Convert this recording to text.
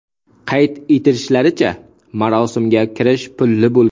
Qayd etishlaricha, marosimga kirish pullik bo‘lgan.